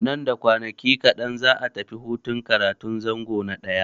Nan da kwanaki kaɗan za'a tafi hutun karatun zango na ɗaya.